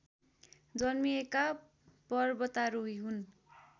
जन्मिएका पर्वतारोही हुन्